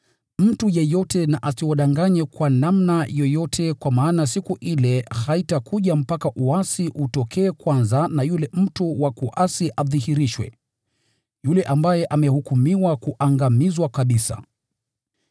Mtu yeyote na asiwadanganye kwa namna yoyote kwa maana siku ile haitakuja mpaka uasi utokee kwanza, na yule mtu wa kuasi adhihirishwe, yule ambaye amehukumiwa kuangamizwa kabisa.